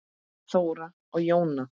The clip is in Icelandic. Þóra og Jóna.